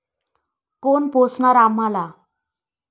कोण पोसणार आम्हाला?